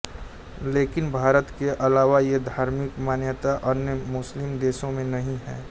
लेकिन भारत के अलावा ये धार्मिक मान्यता अन्य मुस्लिम देशों में नही है